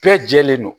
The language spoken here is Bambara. Bɛɛ jɛlen don